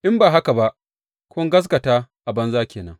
In ba haka ba, kun gaskata a banza ke nan.